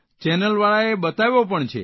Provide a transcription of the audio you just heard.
ચેનલવાળાએ બતાવ્યો પણ છે